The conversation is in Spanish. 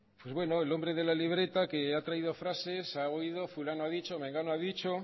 pues bueno el hombre de la libreta que ha traído frases ha oído fulano ha dicho mengano ha dicho